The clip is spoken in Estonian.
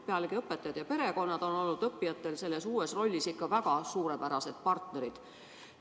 Pealegi, õpetajad ja perekonnad on õppijatele nende uues rollis ikka väga suurepärased partnerid olnud.